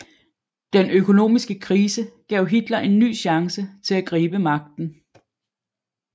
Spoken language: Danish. Den økonomiske krise gav Hitler en ny chance til at gribe magten